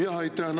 Jaa, aitäh!